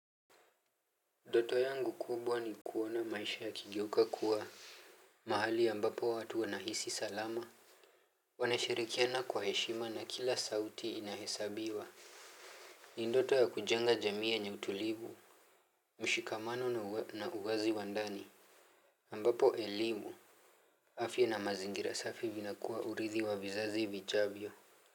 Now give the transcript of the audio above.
Nfoto yangu kubwa ni kuona maisha yakigeuka kuwa mahali ambapo watu wanahisi salama. Wanashirikiana kwa heshima na kila sauti inahesabiwa. Ni ndoto ya kujenga jamii yenye utulivu. Mshikamano na uwazi wa ndani ambapo elimu afya na mazingira safi vinakuwa urithi wa vizazi vijavyo.